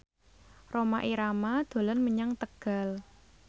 Rhoma Irama dolan menyang Tegal